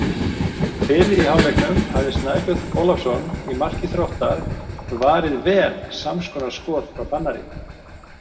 Fyrr í hálfleiknum hafði Snæbjörn Ólafsson í marki Þróttar varið vel samskonar skot frá Fannari.